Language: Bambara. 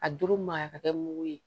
A doro ma ka kɛ mugu ye